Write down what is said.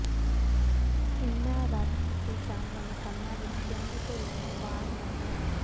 ਇਨ੍ਹਾਂ ਰੱਦ ਕੀਤੇ ਜਾਣ ਵਾਲੇ ਕੰਮਾਂ ਵਿਚ ਪਿੰਡ ਿਢੱਲਵਾਂ ਵਾਰਡ ਨੰ